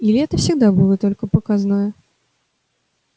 или это всегда было только показное